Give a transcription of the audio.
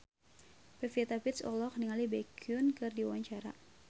Pevita Pearce olohok ningali Baekhyun keur diwawancara